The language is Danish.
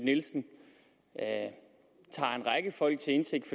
nielsen tager en række folk til indtægt